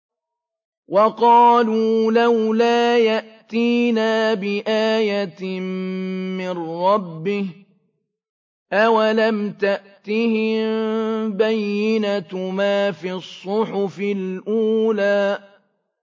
وَقَالُوا لَوْلَا يَأْتِينَا بِآيَةٍ مِّن رَّبِّهِ ۚ أَوَلَمْ تَأْتِهِم بَيِّنَةُ مَا فِي الصُّحُفِ الْأُولَىٰ